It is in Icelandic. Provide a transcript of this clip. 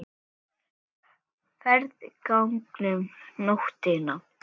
Sá strákur heitir Hilmar.